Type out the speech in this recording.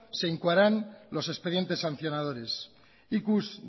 se incoaran los expedientes sancionadores ikus